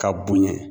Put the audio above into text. Ka bonya